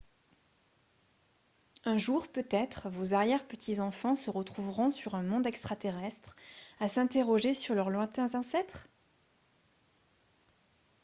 un jour peut-être vos arrière-petits-enfants se retrouveront sur un monde extra-terrestre à s'interroger sur leurs lointains ancêtres